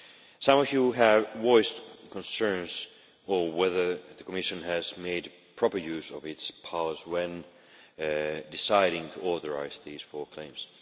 Some of you have voiced concerns on whether the Commission has made proper use of its powers when deciding to authorise these four claims.